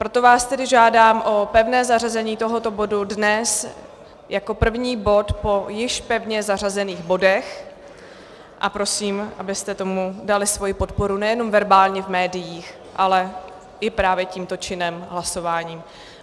Proto vás tedy žádám o pevné zařazení tohoto bodu dnes jako první bod po již pevně zařazených bodech a prosím, abyste tomu dali svoji podporu nejenom verbálně v médiích, ale právě i tímto činem hlasování.